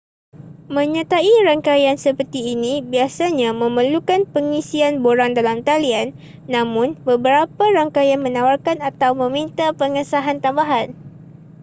menyertai rangkaian seperti ini biasanya memerlukan pengisian borang dalam talian namun beberapa rangkaian menawarkan atau meminta pengesahan tambahan